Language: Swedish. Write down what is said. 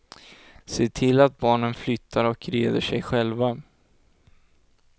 Se till att barnen flyttar och reder sig själva.